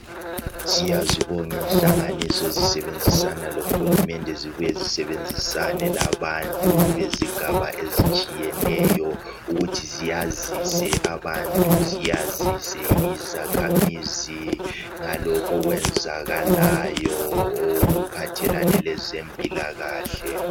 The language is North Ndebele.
Siyazibonga inhlanganiso ezisebenzisana lohulumende. Zibuye zisebenzisane labantu bezigaba ezitshiyeneyo. Ukuthi ziyazise abantu, ziyazise izakhamizi, ngalokhu okwenzakalayo okuphathelane lezempilakahle.